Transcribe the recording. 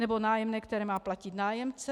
Nebo nájemné, které má platit nájemce?